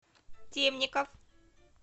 темников